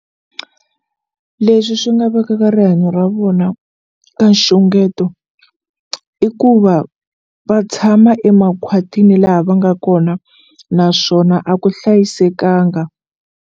Leswi swi nga vekaka rihanyo ra vona ka nxungeto i ku va va tshama emakhwatini laha va nga kona naswona a ku hlayisekanga.